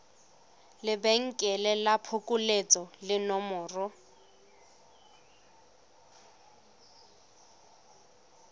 lebenkele la phokoletso le nomoro